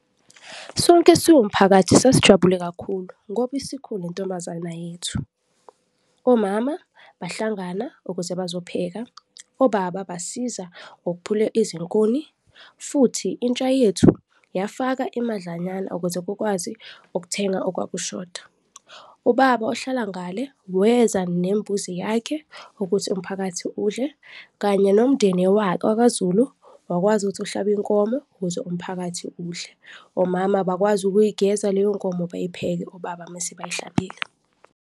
Sonke siwumphakathi sasijabule kakhulu ngoba isikhule intombazana yethu. Omama bahlangana ukuze bazopheka, obaba basiza ngokhuphula izinkuni futhi intsha yethu yafaka imadlanyana ukuze kukwazi ukuthenga okwakushoda. Ubaba ohlala ngale weza nembuzi yakhe ukuthi umphakathi udle kanye nomndeni wakwaZulu wakwazi ukuthi uhlabe inkomo ukuze umphakathi udle, omama bakwazi ukuyigeza leyo nkomo, bayipheke obaba mese bayihlabile.